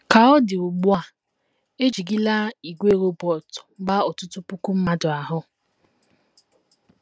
Ka ọ dị ugbu a, e jirila ígwè robot waa ọtụtụ puku mmadụ ahụ́.